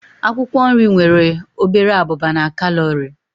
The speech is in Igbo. Akwụkwọ nri nwere obere abụba na kalori.